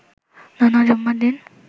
নানা জুম্মার দিন